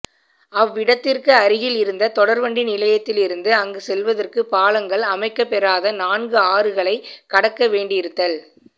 அவ்விடத்திற்கு அருகில் இருந்த தொடர்வண்டி நிலையத்திலிருந்து அங்கு செல்வதற்குப் பாலங்கள் அமைக்கப்பெறாத நான்கு ஆறுகளைக் கடக்கவேண்டியிருத்தல்